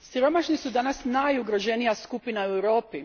Siromašni su danas najugroženija skupina u Europi.